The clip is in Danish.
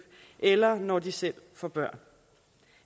eller når de selv får børn